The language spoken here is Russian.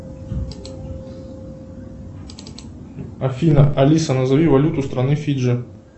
афина алиса назови валюту страны фиджи